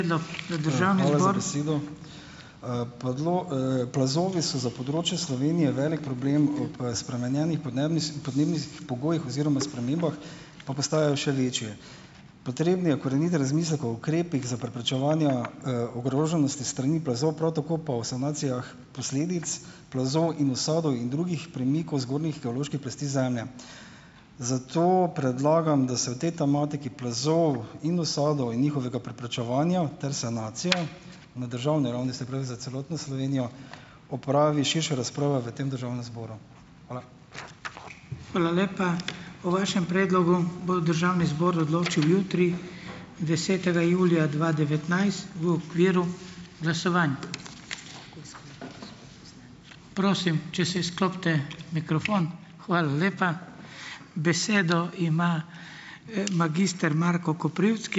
Plazovi so za področje Slovenije velik problem. Spremenjenih podnebnih podnebnih pogojih oziroma spremembah, pa postajajo še večje. Potreben je korenit razmislek o ukrepih za preprečevanja, ogroženosti s strani plazov, prav tako pa o sanacijah posledic plazov in usadov in drugih premikov zgornjih geoloških plasti zemlje. Zato predlagam, da se o tej tematiki plazov in usadov in njihovega preprečevanja ter sanacija na državne ravni, se pravi za celotno Slovenijo, opravi širša razprava v tem državnem zboru. Hvala.